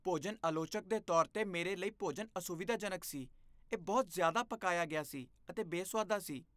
ਭੋਜਨ ਆਲੋਚਕ ਦੇ ਤੌਰ 'ਤੇ ਮੇਰੇ ਲਈ, ਭੋਜਨ ਅਸੁਵਿਧਾਜਨਕ ਸੀ। ਇਹ ਬਹੁਤ ਜ਼ਿਆਦਾ ਪਕਾਇਆ ਗਿਆ ਸੀ ਅਤੇ ਬੇਸੁਆਦਾ ਸੀ।